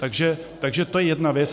Takže to je jedna věc.